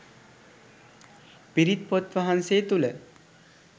පිරිත් පොත්වහන්සේ තුළ